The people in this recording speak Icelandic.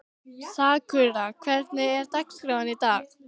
Sakura, hvernig er dagskráin í dag?